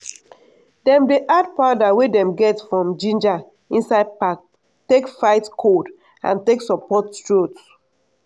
dem dey add powder wey dem get from ginger inside pap take fight cold and take support throat.